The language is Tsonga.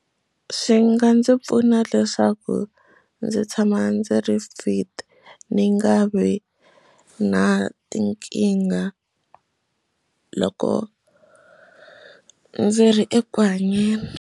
Swi nga ndzi pfuna leswaku ndzi tshama ndzi ri fit ni nga vi na tinkingha loko ndzi ri eku hanyeni.